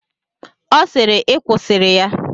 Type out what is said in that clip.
Ọ sịịrị, I kwusịrị ya!